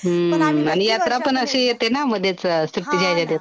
हम्म आणि यात्रा पण अशी येते ना मधेच . सुट्टीच्या याच्यात येत नाही ना .